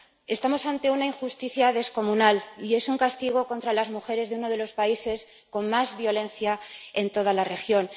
Estamos ante una injusticia descomunal y es un castigo contra las mujeres de uno de los países con más violencia en toda la región.